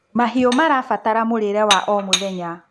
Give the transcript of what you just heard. mahiũ marabatara mũrĩre wa o mũthenya